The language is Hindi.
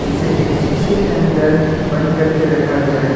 इसे एक शीशे के अंदर बंद करके रखा गया है।